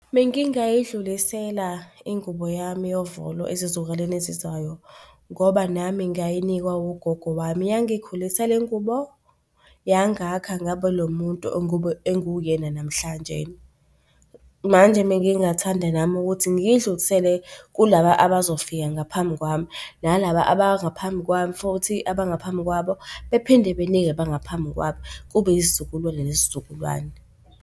Bengingayidlulisela ingubo yami yovolo ezizukulwane ezizayo ngoba nami ngayinikwa ugogo wami. Yangikhulisa le ngubo, yangakha ngaba lo muntu engiwuyena namhlanjena. Manje bengingathanda nami ukuthi ngiyidlulisele kulaba abazofika ngaphambi kwami nalaba abangaphambi kwami futhi abangaphambi kwabo, bephinde benike abangaphambi kwabo kube yisizukulu nesizukulwane.